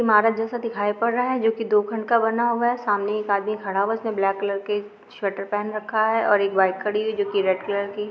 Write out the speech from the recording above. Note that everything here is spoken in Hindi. इमारत जैसा दिखाई पद रहा है जोकि दो खंड का बना हुआ है सामने एक आदमी खड़ा हुआ है जिसने ब्लेक कलर के स्वेटर पहेन रखा है ओर एक बाइक खड़ी हुई जोकि रेड कलर की।